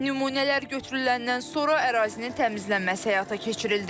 Nümunələr götürüləndən sonra ərazinin təmizlənməsi həyata keçirildi.